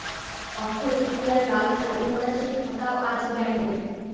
অক্ষয় তৃতীয়ার লাল শালু মোড়া সেই খাতাও আজ ব্র্যান্ডেড